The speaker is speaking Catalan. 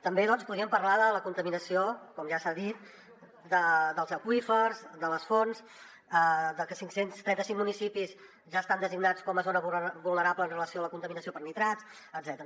també podríem parlar de la contaminació com ja s’ha dit dels aqüífers de les fonts de que cinc cents i trenta cinc municipis ja estan designats com a zona vulnerable en relació amb la contaminació per nitrats etcètera